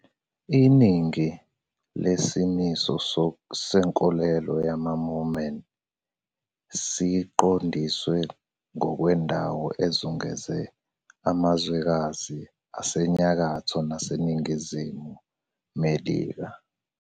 Iningi lesimiso senkolelo yamaMormon siqondiswe ngokwendawo ezungeze amazwekazi aseNyakatho naseNingizimu Melika.